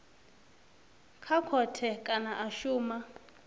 kha khothe kana a shuma